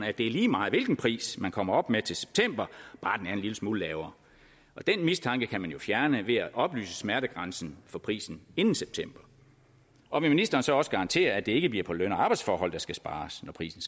at det er lige meget hvilken pris man kommer op med til september bare den er en lille smule lavere den mistanke kan man jo fjerne ved at oplyse smertegrænsen for prisen inden september og vil ministeren så også garantere at det ikke bliver på løn og arbejdsforhold der skal spares når prisen